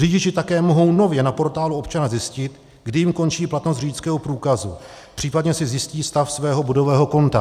Řidiči také mohou nově na Portálu občana zjistit, kdy jim končí platnost řidičského průkazu, případně si zjistí stav svého bodového konta.